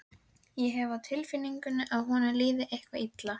Þvagrásin liggur í gegnum getnaðarliminn og opnast fremst á honum.